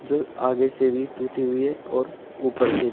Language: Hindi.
आगे से भी टूटी हुई है और ऊपर से--